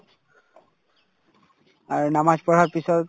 আৰু নামাজ পঢ়াৰ পিছত